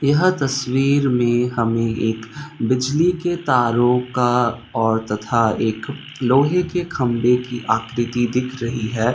यह तस्वीर में हमें एक बिजली के तारों का और तथा एक लोहे के खंभे की आकृति दिख रही है।